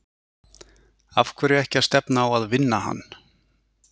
Af hverju ekki að stefna á að vinna hann?